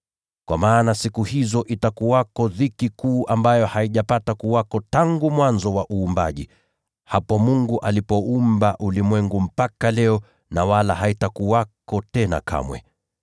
Kwa maana siku hizo zitakuwa za dhiki kuu ambayo haijapata kuwako tangu mwanzo, hapo Mungu alipoumba ulimwengu, mpaka leo, na wala haitakuwako tena kamwe.